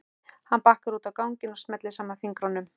Hann bakkar út á ganginn og smellir saman fingrunum.